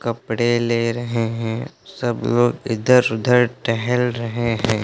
कपड़े ले रहे हैं। सब लोग इधर उधर टहल रहे हैं।